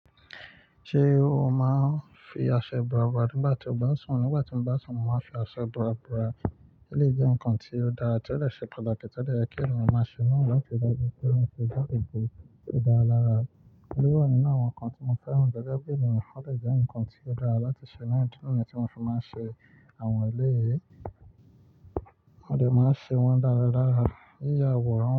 Ṣé o máa ń fi aṣọ ibora bora nígbà tí o bá ń sùn? Nígbà tí mo bá sùn, mo máa ń fi aṣọ ibora bora. Eléyìí jẹ́ nǹkan tí ó dára, tí ó dè ṣe pàtàkì. To de ye kí èyàn máa ṣe, níwọ̀n kí ó ṣe é, kí ènìyàn lè ṣe é dára, lè dára lára. Ó wà nínú àwọn nǹkan tí mo fẹ́ràn. Gẹ́gẹ́ bí ènìyàn fẹ́ lè jẹ́ ǹkan tí ó dára láti ṣe náà. Idí nìyen tí mo fi máa ń ṣe àwọn eléyìí, mo dè máa ṣe wọ́n dára dára. Yíyà wọ̀ ọ́n.